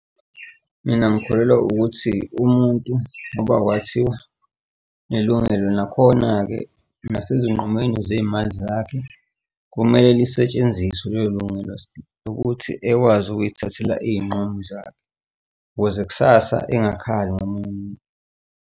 Mina ngikholelwa ukuthi umuntu ngoba kwathiwa unelungelo, nakhona-ke, nasezinqumweni zey'mali zakhe kumele lisetshenziswe lelo lungelo ukuthi ekwazi ukuy'thathela iy'nqumo zakhe ukuze kusasa engasakhali ngomunye umuntu.